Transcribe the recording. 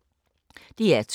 DR2